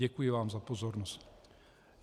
Děkuji vám za pozornost.